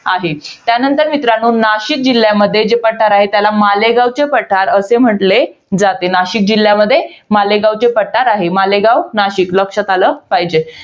आहे. त्यानंतर मित्रांनो, नाशिक जिल्ह्यामध्ये जे पठार आहे, त्याला मालेगावचे पठार असे म्हंटले जाते. नाशिक जिल्ह्यामध्ये, मालेगावचे पठार आहे. मालेगाव नाशिक लक्षात आलं पाहिजे.